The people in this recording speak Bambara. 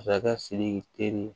Masakɛ siriki teri